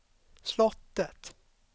slottet